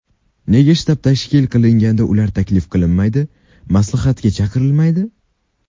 Nega shtab tashkil qilinganda ular taklif qilinmaydi, maslahatga chaqirilmaydi?